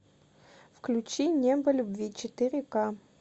включи небо любви четыре ка